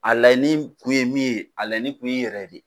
A laɲini kun ye min ye, a laɲini kun ye i yɛrɛ de.